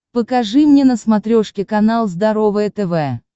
покажи мне на смотрешке канал здоровое тв